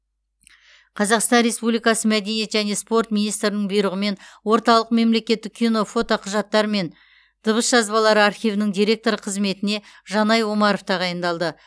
қазақстан республикасы мәдениет және спорт министрінің бұирығымен орталық мемлекеттік кино фотоқұжаттар мен дыбыс жазбалары архивінің директоры қызметіне жанай омаров тағаиындалды